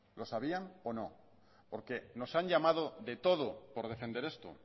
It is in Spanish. lo sabían o no porque nos han llamado de todo por defender esto